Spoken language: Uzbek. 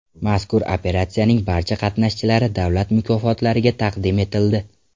Mazkur operatsiyaning barcha qatnashchilari davlat mukofotlariga taqdim etildi.